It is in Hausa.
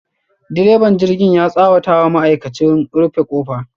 direban jirgin ya tsawata wa ma'aikachi, rufe kofa.